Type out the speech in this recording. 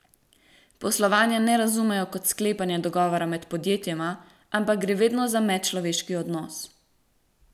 Poslovanja ne razumejo kot sklepanja dogovora med podjetjema, ampak gre vedno za medčloveški odnos.